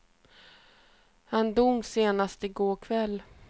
Han dog sent i går kväll.